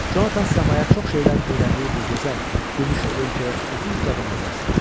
Jonathan səmaya çox şeylər öyrəndiyi bu gözəl gümüşü ölkəyə uzun-uzadı nəzər saldı.